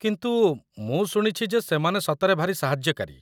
କିନ୍ତୁ, ମୁଁ ଶୁଣିଛି ଯେ ସେମାନେ ସତରେ ଭାରି ସାହାଯ୍ୟକାରୀ ।